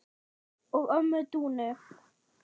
og ömmu Dúnu.